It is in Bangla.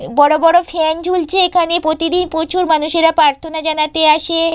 এব বড় বড় ফ্যান ঝুলছে এখানে প্রতিদিন প্রচুর মানুষেরা প্রাথর্না জানাতে আসে-এ।